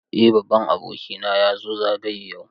Eh babban abokina ya zo zagaye yau.